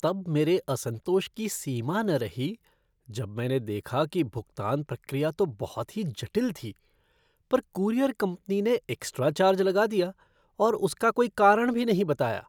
तब मेरे असंतोष की सीमा न रही जब मैंने देखा कि भुगतान प्रक्रिया तो बहुत ही जटिल थी, पर कूरियर कंपनी ने एक्स्ट्रा चार्ज लगा दिया और उसका कोई कारण भी नहीं बताया।